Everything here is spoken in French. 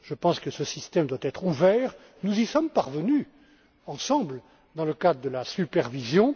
euro. Je pense que ce système doit être ouvert et nous y sommes parvenus ensemble dans le cadre de la supervision.